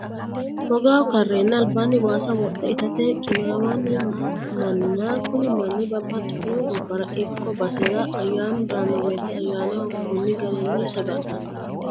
Hogaho ka'reenna alibanni waasa wodhe itate qinaawino mana, kuni manni babaxitino gabara ikko basera ayanu daano woyite ayanaho koni garinni saga'lano